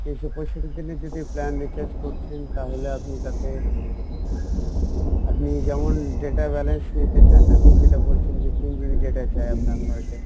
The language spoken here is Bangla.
তিনশো পঁয়ষট্টি দিনের যদি plan recharge করছেন তাহলে আপনি তাতে আপনি যেমন data balance নিতে চান আপনি যেটা বলছেন যে তিন GB data চাই আপনার per day